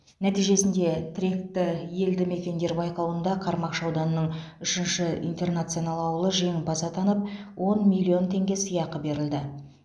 нәтижесінде тіректі елді мекендер байқауында қармақшы ауданының үшінші интернационал ауылы жеңімпаз атанып он миллион теңге сыйақы берілді